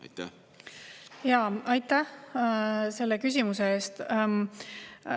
Aitäh selle küsimuse eest!